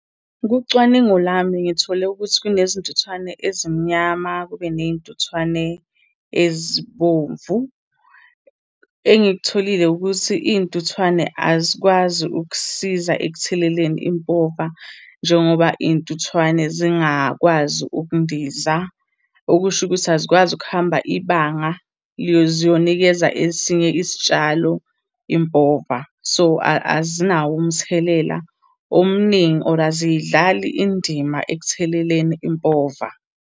Kucwaningo lami, ngithole ukuthi kunezintuthwane ezimnyama, kube ney'ntuthwane ezibomvu. Engikutholile ukuthi iy'ntuthwane azikwazi ukusiza ekutheleleni impova njengoba iy'ntuthwane zingakwazi ukundiza. Okusho ukuthi azikwazi ukuhamba ibanga ziyonikeza esinye isitshalo impova. So, azinawo umthelela omningi, or aziyidlali indima ekutheleleni impova.